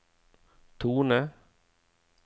tone